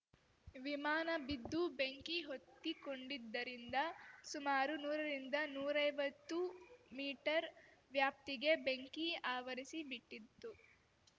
ವಿಮಾನ ಬಿದ್ದು ಬೆಂಕಿ ಹೊತ್ತಿಕೊಂಡಿದ್ದರಿಂದ ಸುಮಾರು ನೂರಿಂದನೂರೈವತ್ತು ಮೀಟರ್‌ ವ್ಯಾಪ್ತಿಗೆ ಬೆಂಕಿ ಆವರಿಸಿಬಿಟ್ಟಿತು